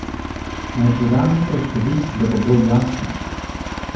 Naj podam nekaj številk, da bo bolj jasno.